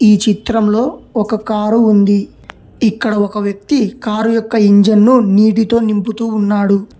ఈ చిత్రంలో ఒక కారు ఉంది ఇక్కడ ఒక వ్యక్తి కారు యొక్క ఇంజన్ను నీటితో నింపుతూ ఉన్నాడు.